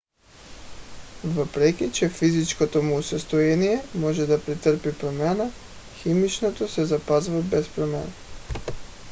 въпреки че физическото му състояние може да претърпи промяна химичното се запазва без промяна